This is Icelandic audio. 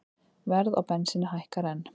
Verð á bensíni hækkar enn